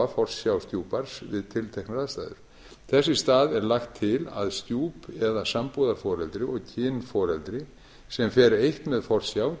forsjá stjúpbarns við tilteknar aðstæður þess í stað er lagt til að stjúp eða sambúðarforeldri og kynforeldri sem fer eitt með forsjá